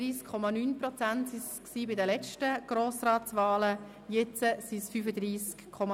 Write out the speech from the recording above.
Bei den letzten Grossratswahlen waren es 31,9 Prozent, jetzt sind es 35,6 Prozent.